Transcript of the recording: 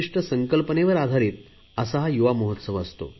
विशिष्ट संकल्पनेवर आधारित हा युवा महोत्सव